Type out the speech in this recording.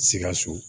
Sikaso